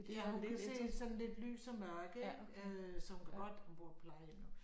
Ja hun kan se sådan lidt lys og mørke ik øh så hun kan godt hun bor på plejehjem nu